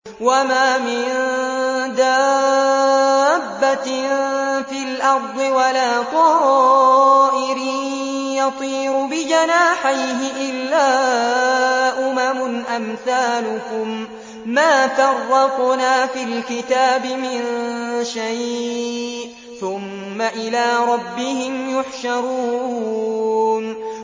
وَمَا مِن دَابَّةٍ فِي الْأَرْضِ وَلَا طَائِرٍ يَطِيرُ بِجَنَاحَيْهِ إِلَّا أُمَمٌ أَمْثَالُكُم ۚ مَّا فَرَّطْنَا فِي الْكِتَابِ مِن شَيْءٍ ۚ ثُمَّ إِلَىٰ رَبِّهِمْ يُحْشَرُونَ